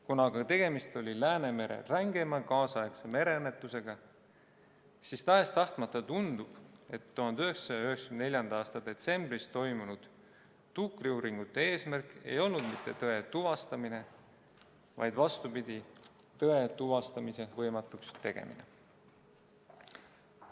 Kuna aga tegemist oli Läänemere rängima kaasaegse mereõnnetusega, siis tahes-tahtmata tundub, et 1994. aasta detsembris toimunud tuukriuuringute eesmärk ei olnud mitte tõe tuvastamine, vaid vastupidi, tõe tuvastamise võimatuks tegemine.